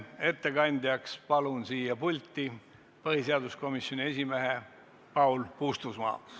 Ettekandeks palun siia pulti põhiseaduskomisjoni esimehe Paul Puustusmaa!